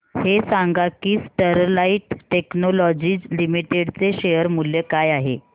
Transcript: हे सांगा की स्टरलाइट टेक्नोलॉजीज लिमिटेड चे शेअर मूल्य काय आहे